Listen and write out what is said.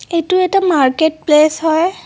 এইটো এটা market place হয়।